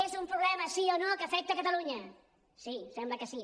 és un problema sí o no que afecta catalunya sí sembla que sí